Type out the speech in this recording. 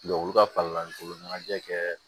olu ka ɲɛnajɛ kɛ